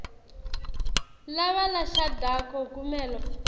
laba labashadako kumele